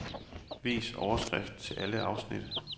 Vis overskrift til alle afsnit.